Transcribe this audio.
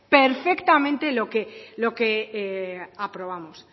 lo que aprobamos